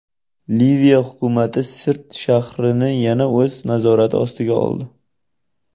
Liviya hukumati Sirt shahrini yana o‘z nazorati ostiga oldi.